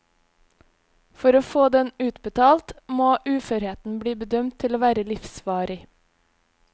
For å få den utbetalt må uførheten bli bedømt til å være livsvarig.